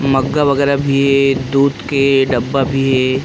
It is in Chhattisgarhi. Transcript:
मैग वगेरा भी हे दूध के डबा भी हे।